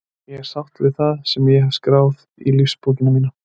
Ég er sáttur við það sem ég hef skráð í lífsbókina mína.